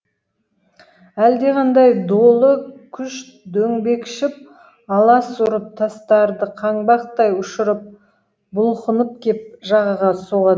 әлдеқандай долы күш дөңбекшіп алас ұрып тастарды қаңбақтай ұшырып бұлқынып кеп жағаға соғат